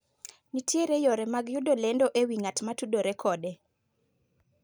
nitiere yore mag yudo lendo ewi ng'at matudore kode